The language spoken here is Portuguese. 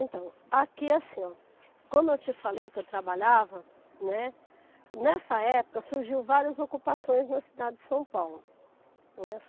Então, aqui assim, ó, como eu te falei que eu trabalhava, né, nessa época surgiram várias ocupações na cidade de São Paulo.